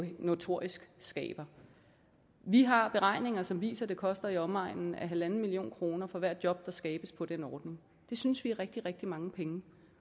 den notorisk skaber vi har beregninger som viser at det koster i omegnen af en en halv million kroner for hvert job der skabes på den ordning det synes vi er rigtig rigtig mange penge